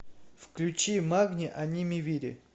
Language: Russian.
включи магни аними вири